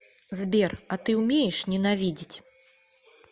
сбер а ты умеешь ненавидеть